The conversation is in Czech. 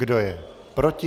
Kdo je proti?